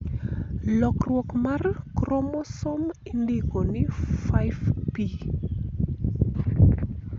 lokruok mar kromosom indiko ni 5P